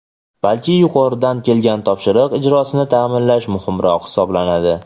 balki yuqoridan kelgan topshiriq ijrosini ta’minlash muhimroq hisoblanadi.